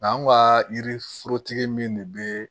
Nga an ka yiri forotigi min de bɛ